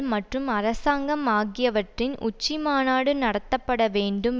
மற்றும் அரசாங்கம் ஆகியவற்றின் உச்சி மாநாடு நடத்தப்பட வேண்டும்